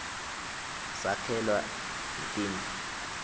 sakhelwa netindlu